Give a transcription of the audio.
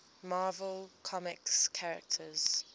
marvel comics characters